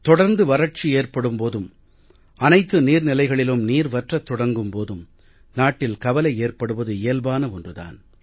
தொடர்ந்து வறட்சி ஏற்படும் போதும் அனைத்து நீர் நிலைகளிலும் நீர் வற்றத் தொடங்கும் போதும் நாட்டில் கவலை ஏற்படுவது இயல்பான ஒன்று தான்